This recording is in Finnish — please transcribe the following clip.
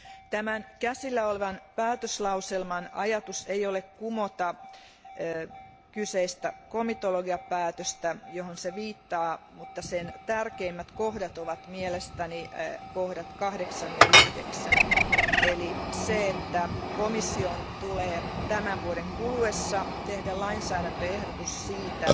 Tämän käsiteltävänä olevan päätöslauselman tarkoitus ei ole kumota komitologiapäätöstä, johon se viittaa, mutta sen tärkeimmät kohdat ovat mielestäni 8 ja 9 kohdat, eli se, että komission tulee tämän vuoden kuluessa tehdä lainsäädäntöehdotus siitä,